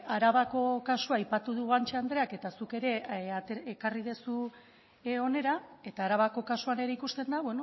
arabako kasua aipatu du guanche andreak eta zuk ere ekarri duzu hona eta arabako kasuan ere ikusten da